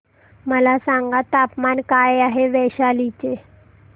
मला सांगा तापमान काय आहे वैशाली चे